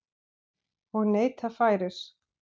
Og neyta færis.